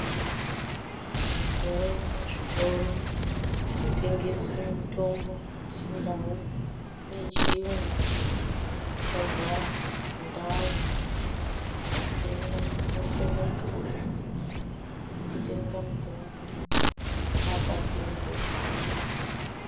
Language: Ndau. Mukore uno zvitoro zvinotengeswe mitombo yechindau neyechiyungu yadzara mundau. Matenda oshomeka, kutenga mitombo kwapasinde.